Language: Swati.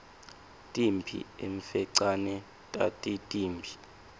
timphi emfecane tatitimbi